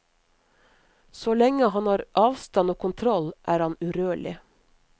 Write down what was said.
Så lenge han har avstand og kontroll, er han urørlig.